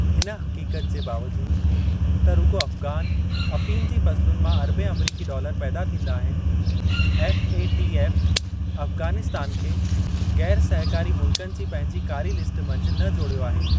हिन हक़ीक़त जे बावजूदु त रुॻो अफ़गान अफ़ीम जी फ़सलुनि मां अरबें अमरीकी डालर पैदा थींदा आहिनि, एफ़एटीऍफ़ अफ़गानिस्तान खे ग़ैरु-सहकारी मुल्क़नि जी पंहिंजी कारी लिस्ट मंझि न जोड़ियो आहे।